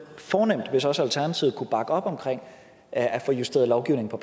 fornemt hvis også alternativet kunne bakke op om at få justeret lovgivningen